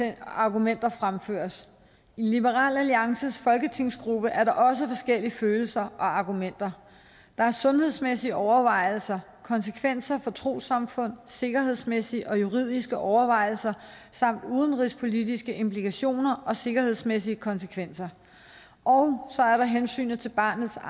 og argumenter fremføres i liberal alliances folketingsgruppe er der også forskellige følelser og argumenter der er sundhedsmæssige overvejelser konsekvenser for trossamfund sikkerhedsmæssige og juridiske overvejelser samt udenrigspolitiske implikationer og sikkerhedsmæssige konsekvenser og så er der hensynet til barnets